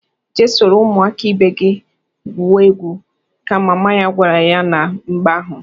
"Jee soro ụmụaka ibe gị gwube egwu!" ka mama ya gwara ya na mgbe ahụ.